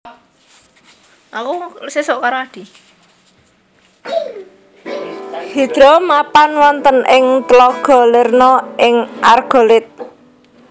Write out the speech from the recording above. Hidra mapan wonten ing tlaga Lerna ing Argolid